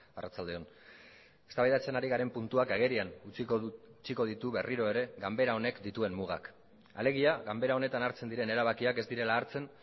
arratsalde on eztabaidatzen ari garen puntuak agerian utziko ditu berriro ere ganbera honek dituen mugak alegia ganbera honetan hartzen diren erabakiak ez direla hartzen